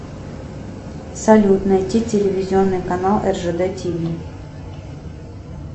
салют найти телевизионный канал ржд ти ви